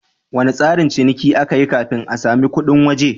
Wane tsarin ciniki aka yi kafin a sami kudin waje?